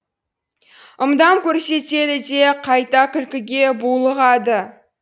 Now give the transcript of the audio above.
ымдап көрсетеді де қайта күлкіге булығады